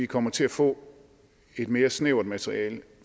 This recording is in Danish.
kommer til at få et mere snævert materiale